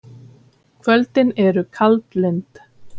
Kvöldin eru kaldlynd.